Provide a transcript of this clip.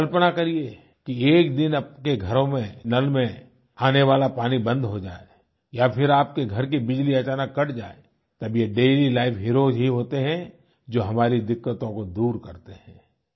आप कल्पना करिए कि एक दिन आपके घरों में नल में आने वाला पानी बंद हो जाए या फिर आपके घर की बिजली अचानक कट जाए तब ये डेलीलाइफ हीरोज ही होते हैं जो हमारी दिक्क़तों को दूर करते हैं